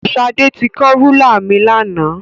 Ṣadé ti kán rúlà mi lánàá.